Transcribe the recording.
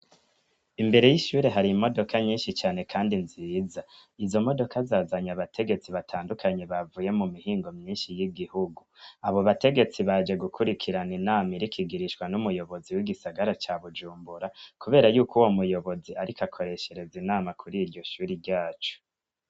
Imbere y'ishure hari imodoka nyinshi cane, kandi nziza izo modoka zazanya abategetsi batandukanyi bavuye mu mihingo myinshi y'igihugu abo bategetsi baje gukurikirana inama irikigirishwa n'umuyobozi w'igisagara ca bujumbura, kubera yuko uwo muyobozi, ariko akoreshereza inama kuri iryo shuri ryacu.